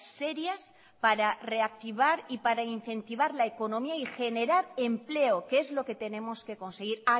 serias para reactivar y para incentivar la economía y generar empleo que es lo que tenemos que conseguir